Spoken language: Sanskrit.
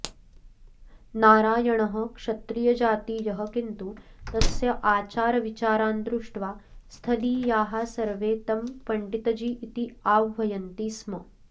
नारायणः क्षत्रियजातीयः किन्तु तस्य आचारविचारान् दृष्ट्वा स्थलीयाः सर्वे तं पण्डितजी इति आह्वयन्ति स्म